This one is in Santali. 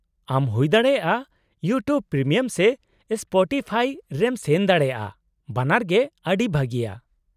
-ᱟᱢ ᱦᱩᱭᱫᱟᱲᱮᱭᱟᱜᱼᱟ ᱤᱭᱩᱴᱤᱭᱩᱵ ᱯᱨᱤᱢᱤᱭᱟᱢ ᱥᱮ ᱥᱯᱚᱴᱤᱯᱷᱟᱭ ᱨᱮᱢ ᱥᱮᱱ ᱫᱟᱲᱮᱭᱟᱜᱼᱟ, ᱵᱟᱱᱟᱨ ᱜᱮ ᱟᱹᱰᱤ ᱵᱷᱟᱹᱜᱤᱭᱟ ᱾